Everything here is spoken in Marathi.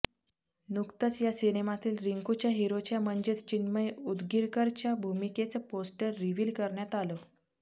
नुकतच या सिनेमातील रिंकूच्या हिरोच्या म्हणजेच चिन्मय उदगीरकरच्या भूमिकेचं पोस्टर रिव्हील करण्यात आलं